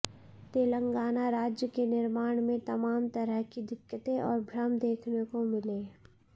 तेलंगाना राज्य के निर्माण में तमाम तरह की दिक्कतें और भ्रम देखने को मिले